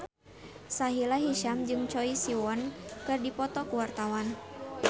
Sahila Hisyam jeung Choi Siwon keur dipoto ku wartawan